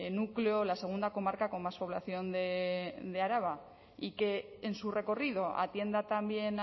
núcleo la segunda comarca con más población de araba y que en su recorrido atienda también